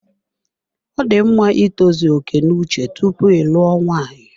Ọ dị mma itozu oke n'uche tupu ịlụo nwaanyị.